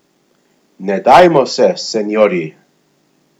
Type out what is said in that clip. Ne dajmo se, seniorji!